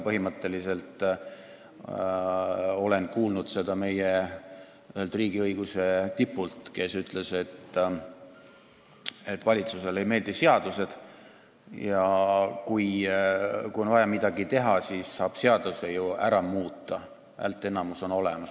Põhimõtteliselt olen kuulnud seda meie ühelt riigiõiguse tipult, kes ütles, et valitsusele ei meeldi seadused ja kui on vaja midagi teha, siis saab seaduse ju ära muuta – häälteenamus on olemas.